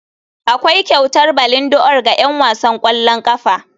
Akwai kyautar ballondi'or ga 'yan wasan ƙwallon ƙafa.